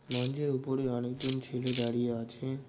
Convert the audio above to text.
মঞ্জের উপরে অনেকজন ছেলে দাঁড়িয়ে আছে।